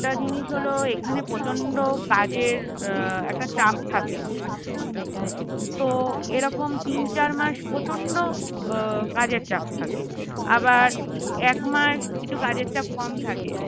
একটা জিনিস হলো এখানে প্রচন্ড কাজের এর একটা চাপ থাকে তো এরকম তিন চার মাস প্রচন্ড কাজের চাপ থাকে আবার এক মাস একটু কাজের চাপ কম থাকে